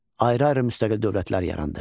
Ayrı-ayrı müstəqil dövlətlər yarandı.